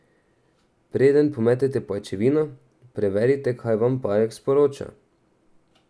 Preden pometete pajčevino, preverite, kaj vam pajek sporoča.